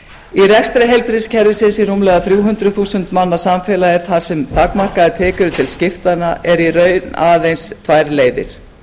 í rekstri heilbrigðiskerfisins í rúmlega þrjú hundruð þúsund manna samfélagi þar sem takmarkaðar tekjur eru til skiptanna eru í raun aðeins tvær leiðir